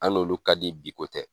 An n'olu ka di biko tɛ